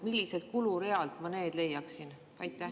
Milliselt kulurealt ma need leiaksin?